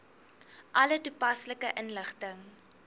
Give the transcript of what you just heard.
alle toepaslike inligting